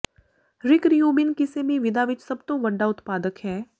ਰਿਕ Rubin ਕਿਸੇ ਵੀ ਵਿਧਾ ਵਿਚ ਸਭ ਤੋਂ ਵੱਡਾ ਉਤਪਾਦਕ ਹੈ